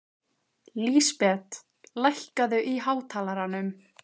Lísbet, lækkaðu í hátalaranum.